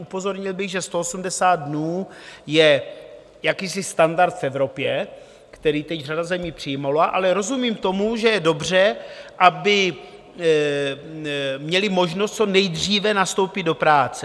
Upozornil bych, že 180 dnů je jakýsi standard v Evropě, který teď řada zemí přijala, ale rozumím tomu, že je dobře, aby měli možnost co nejdříve nastoupit do práce.